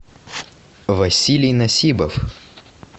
василий насибов